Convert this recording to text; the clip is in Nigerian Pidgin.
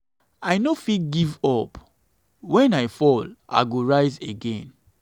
i no fit give up wen i fall i go rise again.